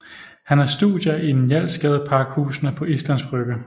Han har studier i Njalsgadepakhusene på Islands Brygge